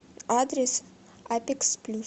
адрес апекс плюс